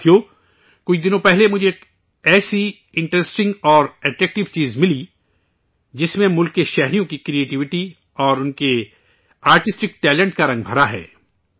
ساتھیو، کچھ روز قبل مجھے ایک ایسی انٹریسٹنگ اور اٹریکٹیو چیز ملی، جس میں اہل وطن کی کریٹیوٹی اور ان کے آرٹسٹک ٹیلنٹ کا رنگ بھرا ہے